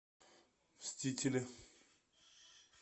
мстители